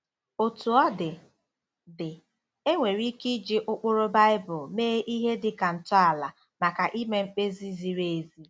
Otú ọ dị, dị, e nwere ike iji ụkpụrụ Baibulu mee ihe dị ka ntọala maka ime mkpebi ziri ezi.